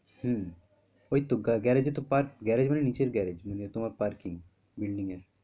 হম ওই তো garage এ তো পার garage মানে নিচের garage মানে তোমার parkingbuilding এর